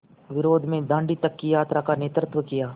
विरोध में दाँडी तक की यात्रा का नेतृत्व किया